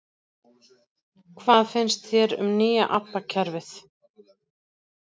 Hvað finnst þér um nýja ABBA kerfið?